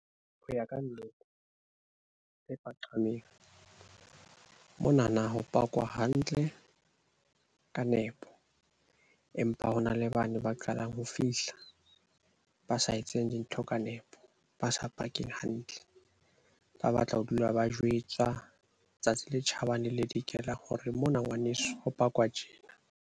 Ho ya ka nna tse paqameng, mona na ho pakwa hantle ka nepo, empa ho na le bane ba qalang ho fihla. Ba sa etseng dintho ka nepo, ba sa pakeng hantle. Ba batla ho dula ba jwetswa tsatsi le tjhabang le le dikelang hore mona ngwaneso ho pakwa tjena.